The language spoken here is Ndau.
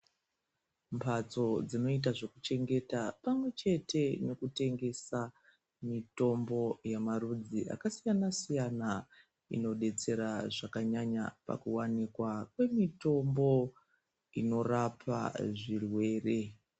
Mhatso dzinota zvekuchengeta pamwe chete nekutengesa mutombo yemarudzi akasiyana -siyana. Inobetsera zvakanyanya pakuvanikwa kwemitombo inorapa zvirwere.